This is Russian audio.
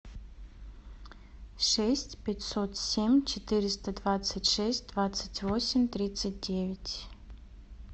шесть пятьсот семь четыреста двадцать шесть двадцать восемь тридцать девять